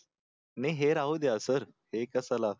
नाही हे राहू द्या सर हे कशाला